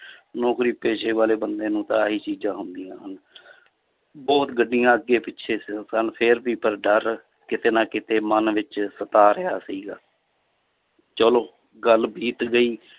ਨੌਕਰੀ ਪੇਸ਼ੇ ਵਾਲੇ ਬੰਦੇ ਨੂੰ ਤਾਂ ਆਹੀ ਚੀਜ਼ਾਂ ਨੂੰ ਹੁੰਦੀਆਂ ਹਨ ਬਹੁੁਤ ਗੱਡੀਆਂ ਅੱਗੇ ਪਿੱਛੇ ਸ~ ਸਨ ਫਿਰ ਵੀ ਪਰ ਡਰ ਕਿਤੇ ਨਾ ਕਿਤੇ ਮਨ ਵਿੱਚ ਸਤਾ ਰਿਹਾ ਸੀਗਾ ਚਲੋ ਗੱਲ ਬੀਤ ਗਈ